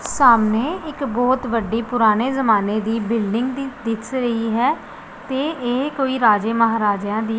ਸਾਮਣੇ ਇੱਕ ਬੋਹੁਤ ਵੱਡੀ ਪੁਰਾਨੇ ਜ਼ਮਾਨੇ ਦੀ ਬਿਲਡਿੰਗ ਦੀ ਦਿੱਸ ਰਹੀ ਹੈ ਤੇ ਇਹ ਕੋਈ ਰਾਜੇ ਮਹਾਰਾਜੇਆਂ ਦੀ --